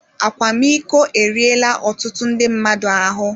Akwamiko eriela ọtụtụ ndị mmadụ ahụ